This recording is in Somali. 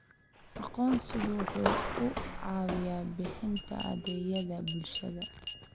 Aqoonsigu waxa uu caawiyaa bixinta adeegyada bulshada.